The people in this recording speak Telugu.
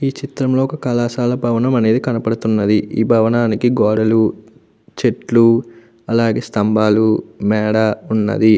ఈ చిత్రం లో కళాశాల భవనం అనేది కనబడుతున్నది ఈ భవనానికి గోడలు చెట్లు అలాగే స్తంభాలు మెడ ఉన్నవి.